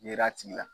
Yera a tigi la